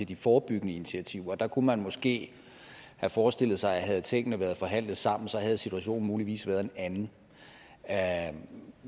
de forebyggende initiativer der kunne man måske have forestillet sig at havde tingene været forhandlet sammen så havde situationen muligvis været en anden